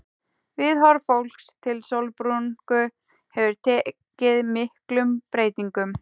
Viðhorf fólks til sólbrúnku hefur tekið miklum breytingum.